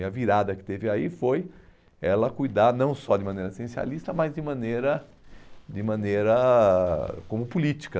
E a virada que teve aí foi ela cuidar não só de maneira essencialista, mas de maneira de maneira como política.